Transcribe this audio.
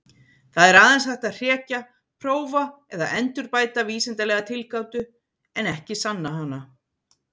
Það er aðeins hægt að hrekja, prófa eða endurbæta vísindalega tilgátu, en ekki sanna hana.